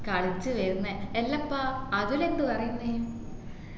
കളിച്ചു വിരുന്ന് ഇല്ലപ്പ അതുൽ എന്ത് പറയുന്ന്